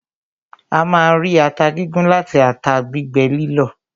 A máa ń rí ata gígún láti ata gbígbẹ lílọ̀.